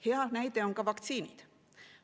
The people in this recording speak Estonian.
Hea näide on ka vaktsiinid.